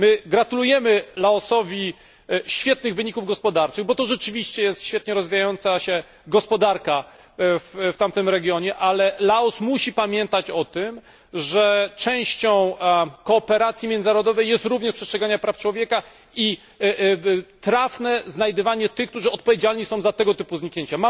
Gratulujemy Laosowi świetnych wyników gospodarczych, bo jest to rzeczywiście świetnie rozwijająca się gospodarka w tamtym regionie, ale Laos musi pamiętać o tym, że częścią współpracy międzynarodowej jest również przestrzeganie praw człowieka i trafne znajdywanie tych, którzy są odpowiedzialni za tego typu zniknięcia.